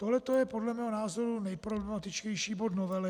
Tohle je podle mého názoru nejproblematičtější bod novely.